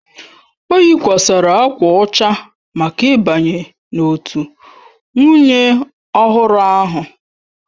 O yikwasịrị akwa ọcha maka ịbanye n'òtù nwunye ọhụrụ ahụ.